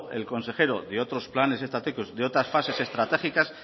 el consejero de otros planes estratégicos de otras fases estratégicas